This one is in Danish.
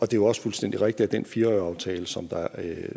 det jo også fuldstændig rigtigt at den fire årige aftale som